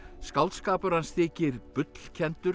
skáldskapur hans þykir